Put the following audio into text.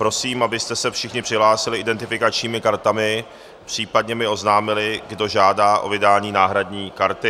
Prosím, abyste se všichni přihlásili identifikačními kartami, případně mi oznámili, kdo žádá o vydání náhradní karty.